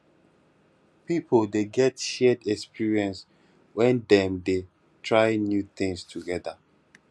pipo de get shared experience when dem dem de try new things together